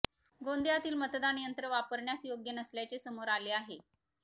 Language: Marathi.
गोंदियातील मतदान यंत्र वापरण्यास योग्य नसल्याचे समोर आले आहे